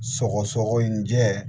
Sɔgɔsɔgɔ in jɛ